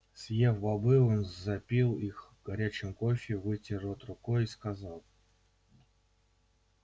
съев бобы он запил их горячим кофе вытер рот рукой и сказал